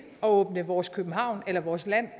at åbne vores københavn eller vores land